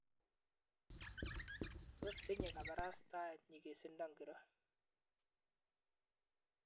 Tos tinye kabarastaeni nyigisindo ngiro?